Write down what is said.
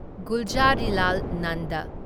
Gulzarilal Nanda